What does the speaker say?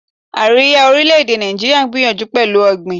Àríwá orílè-èdè Nàìjíríà ń gbìyànjú pẹ̀lú ọ̀gbìn.